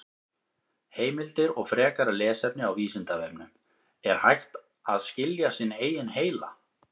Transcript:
Heimildir og frekara lesefni á Vísindavefnum: Er hægt að skilja sinn eigin heila?